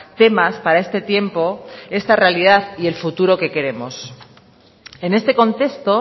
temas para este tiempo esta realidad y el futuro que queremos en este contexto